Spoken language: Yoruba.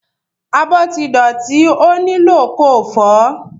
Abọ́ ti dọ̀tí ó nílò ko fọ̀ọ́.